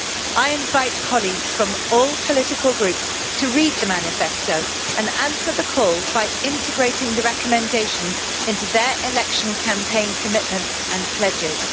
I invite colleagues from all political groups to read the manifesto and answer the call by integrating the recommendations into their election campaign commitments and pledges.